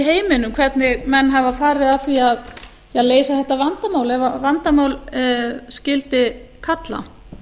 heiminum hvernig menn hafa farið að því að leysa þetta vandamál ef vandamál skyldi kalla